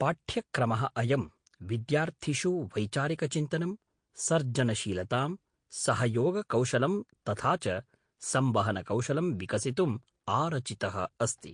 पाठ्यक्रमः अयं विद्यार्थिषु वैचारिकचिन्तनं, सर्जनशीलतां, सहयोगकौशलं तथा च संवहनकौशलम् विकसितुम् आरचितः अस्ति।